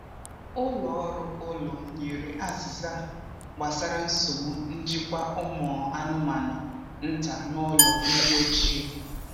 Ụlọ ọrụ ụlọ nyere azịza gbasara nsogbu njikwa ụmụ anụmanụ nta n’ụlọ ndị ochie.